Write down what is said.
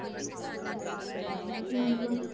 ਠੀਕ ਐ।